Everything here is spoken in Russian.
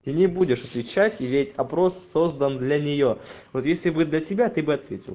ты не будешь отвечать и ведь опрос создан для неё вот если бы для тебя ты бы ответил